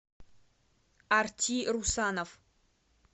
арти русанов